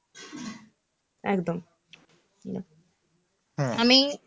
একদম. আমি,